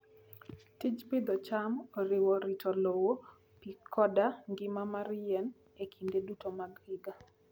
Tij pidho cham oriwo rito lowo, pi, koda ngima mar yien e kinde duto mag higa.